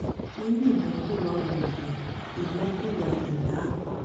irú ìnákúwá wo nìyẹn ìnákúwá ìná àpà